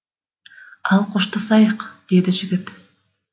ал қоштасайық деді жігіт